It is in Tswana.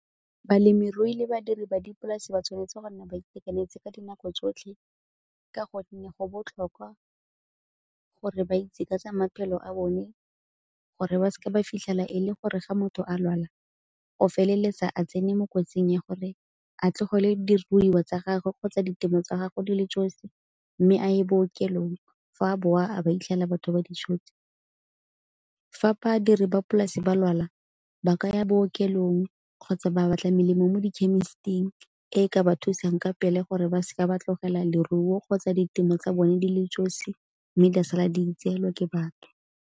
Balemirui le badiri ba dipolase ba tshwanetse go nna ba itekanetse ka dinako tsotlhe ka gonne go botlhokwa gore ba itse ka tsa maphelo a bone, gore ba seke ba fitlhela e le gore ga motho a lwala go feleletsa a tsene mo kotsing ya gore a tlogele diruiwa tsa gagwe kgotsa ditemo tsa gage di le josi mme a ye bookelong fa a bowa a ba a fitlhela batho ba di tshotse. Fa badire ba polasi ba lwala ba ka ya bookelong kgotsa ba batla melemo mo di khemisiting e ka ba thusang ka pele gore ba seke ba tlogela leruo kgotsa ditemo tsa bone di le josi mme di a sala di itseela ke batho.